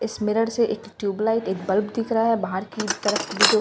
इस मिरर से एक ट्यूबलाइट एक बल्ब दिख रहा है बाहर की तरफ बीचों--